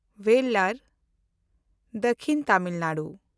ᱵᱮᱞᱞᱟᱨ (ᱫᱚᱠᱷᱤᱱ ᱛᱟᱢᱤᱞ ᱱᱟᱰᱩ)